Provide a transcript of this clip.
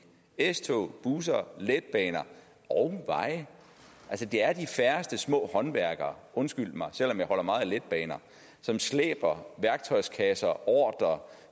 s tog busser letbaner og veje altså det er de færreste små håndværkere undskyld mig selv om jeg holder meget af letbaner som slæber værktøjskasser